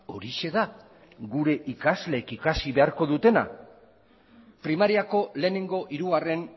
horixe da gure ikasleek ikasi beharko dutena primariako lehenengo hirugarren